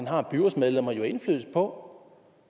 har byrådsmedlemmerne jo indflydelse på